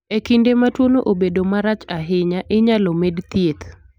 E kinde ma tuono obedo marach ahinya, inyalo med thieth.